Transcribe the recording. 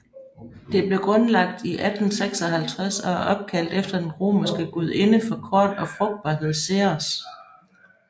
Det blev grundlagt i 1856 og er opkaldt efter den romerske gudinde for korn og frugtbarhed Ceres